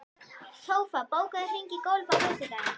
Tófa, bókaðu hring í golf á föstudaginn.